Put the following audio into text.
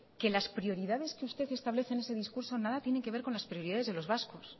que las prioridades que usted establece en ese discurso nada tienen que ver con las prioridades de los vascos